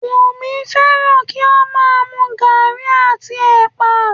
Wùmí fẹ́ràn kí ó má a mu gaàrí àti ẹ̀pà